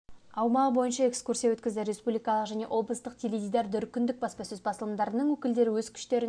аумағы бойынша экскурсия өткізді республикалық және облыстық теледидар және дүркіндік баспасөз басылымдарының өкілдері өз күштерін